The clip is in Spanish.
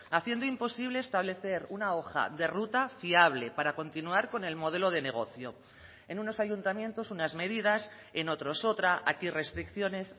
haciendo imposible establecer una hoja de ruta fiable para continuar con el modelo de negocio en unos ayuntamientos unas medidas en otros otra aquí restricciones